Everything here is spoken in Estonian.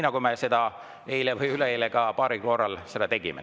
Eile või üleeile me seda paaril korral ka tegime.